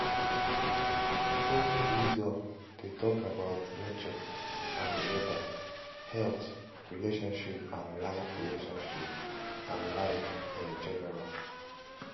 folk wisdom de talk about nature and weather health relationships and life relationships and life in general